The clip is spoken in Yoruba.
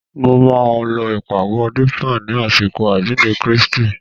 Mo máa lọ ìpàgọ́ Dípà ni àsìkò àjíǹde Kristi